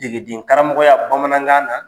Degedenkaramɔgɔya bamanankan na.